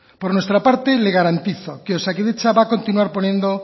por nuestra parte le garantizo que osakidetza va a continuar poniendo